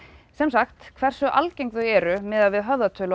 sem sagt hversu algeng þau eru miðað við höfðatölu